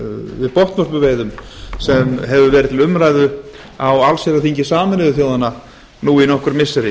við botnvörpuveiðum sem hefur verið til umræðu á allsherjarþingi sameinuðu þjóðanna nú í nokkur missiri